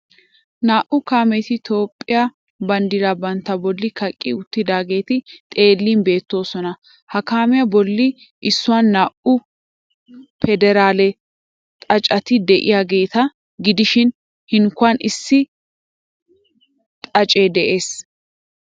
Naa"u kaameti Toophphiya banddiraa bantta bolli kaqqi uttidaageeti xeellin beettoosona. Ha kaamiya bolli issuwan naa"u pederaale xaaceti de'iyageeta gidishin hinkkuwan issi xaacee de'ees.